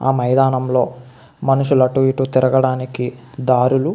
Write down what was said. ఆ మైదానంలో మనుషులు అటు ఇటు తిరగడానికి దారులు --